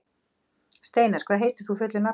Steinar, hvað heitir þú fullu nafni?